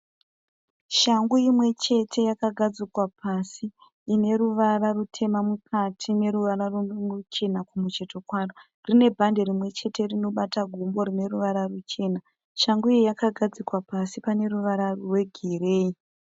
Shangu imwe chete yakagadzika pasi ine ruvara rutema mukati neruvara ruchena kumucheto kwaro. Rine bhande rimwe chete tinobata gumbo rine ruvara ruchena. Shangu iyi yakagadzikwa pasi pano ruvara rwegireyi.